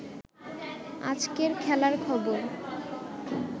আজকের খেলার খবর